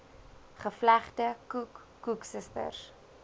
gevlegde koek koeksisters